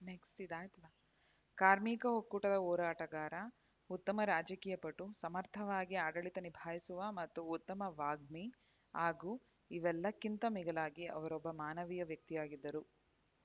next ಇದು ಆಯಿತು ಕಾರ್ಮಿಕ ಒಕ್ಕೂಟದ ಹೋರಾಟಗಾರ ಉತ್ತಮ ರಾಜಕೀಯ ಪಟು ಸಮರ್ಥವಾಗಿ ಆಡಳಿತ ನಿಭಾಯಿಸುವ ಮತ್ತು ಉತ್ತಮ ವಾಗ್ಮಿ ಹಾಗೂ ಇವೆಲ್ಲಕ್ಕಿಂತ ಮಿಗಿಲಾಗಿ ಅವರೊಬ್ಬ ಮಾನವೀಯ ವ್ಯಕ್ತಿಯಾಗಿದ್ದರು